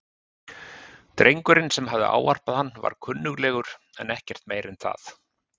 Drengurinn sem hafði ávarpað hann var kunnuglegur en ekkert meira en það.